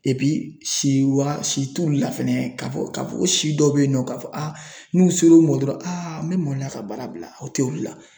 si wa si t'ulu la fɛnɛ ka fɔ ka fɔ ko si dɔ be yen nɔ ka fɔ n'u ser'u ma dɔrɔn n bɛ maloya ka baara bila u tɛ ulu la.